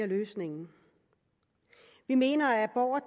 løsning vi mener at abort